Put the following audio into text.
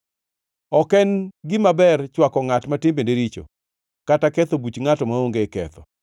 Ok en gima ber chwako ngʼat ma timbene richo kata ketho buch ngʼato maonge ketho.